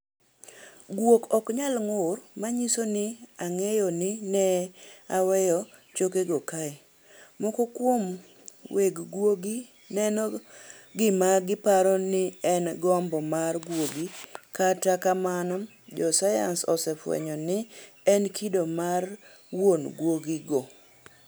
Guok ok nyal ng'ur manyiso ni, "Ang'eyo ni ne aweyo chokegi kae" Moko kuom weg guogi neno gima giparo ni en gombo mar guogi, kata kamano, josayans osefwenyo ni en kido mar wuon guogigo.